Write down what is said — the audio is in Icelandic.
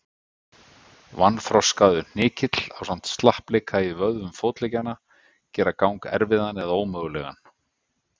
Vanþroskaður hnykill ásamt slappleika í vöðvum fótleggjanna gera gang erfiðan eða ómögulegan.